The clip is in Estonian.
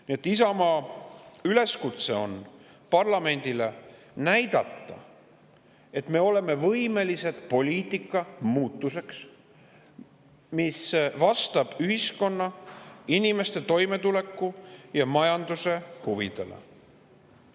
Nii et Isamaa üleskutse parlamendile on näidata, et me oleme võimelised poliitikamuutuseks, mis vastab ühiskonna, inimeste toimetuleku ja majanduse huvidele.